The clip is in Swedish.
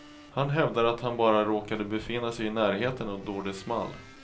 Han hävdar att han bara råkade befinna sig i närheten då det small.